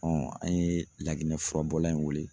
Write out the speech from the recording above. an ye Laginɛ furabɔla in wele